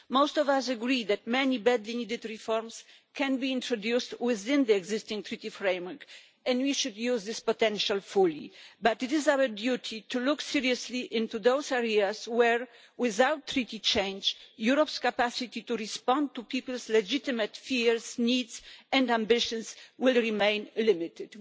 Most of us agree that many badly needed reforms can be introduced within the existing Treaty framework and we should use this potential fully, but it is our duty to look seriously into those areas where, without Treaty change, Europe's capacity to respond to people's legitimate fears, needs and ambitions will remain limited.